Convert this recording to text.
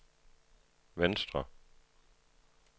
venstre